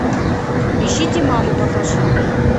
ищите маму покажи